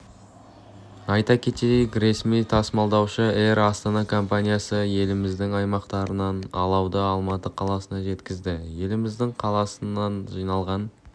айта кетейік ресми тасымалдаушы эйр астана компаниясы еліміздің аймақтарынан алауды алматы қаласына жеткізді еліміздің қаласынан жиналған